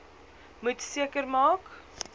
moet seker maak